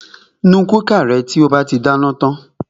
Nu kúkà rẹ to bá ti dáná tan!